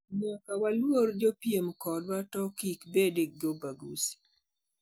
Nyaka waluor jopiem kodwa to kibede gi ubaguzi